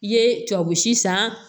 I ye tubabu si san